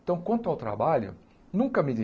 Então, quanto ao trabalho, nunca medi.